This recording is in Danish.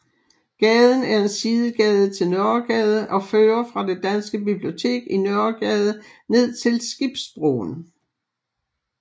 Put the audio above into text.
Gaden er en sidegade til Nørregade og fører fra det danske bibliotek i Nørregade ned til Skibsbroen